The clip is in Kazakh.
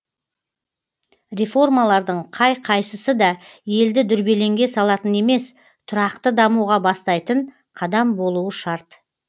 реформалардың қай қайсысы да елді дүрбелеңге салатын емес тұрақты дамуға бастайтын қадам болуы шарт